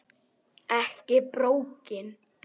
Ekki borgin.